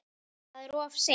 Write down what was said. Það er of seint.